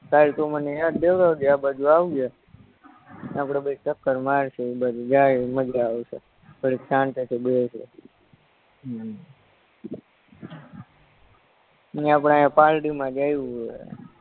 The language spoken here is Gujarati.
કાલ તું મને યાદ દેવરાવજે આપણે બેય જાહુ ન્યા આપણે બેય ચક્કર મારશું ઇ બાજુ જાયી મજા આવશે ઘડીક શાંતિથી બેહ્સું હમ આપણે આયા